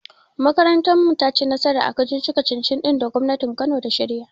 Makarantar mu tayi nasara a kacici-kacicin da gwamnatin kano ta shirya.